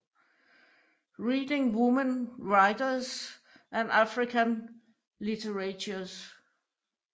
Reading women writers and African literatures